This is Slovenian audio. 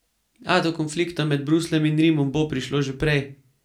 A do konflikta med Brusljem in Rimom bo prišlo že prej.